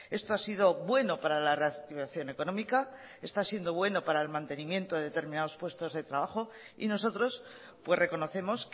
esto ha sido bueno para la reactivación económica está siendo bueno para el mantenimiento de determinados puestos de trabajo y nosotros reconocemos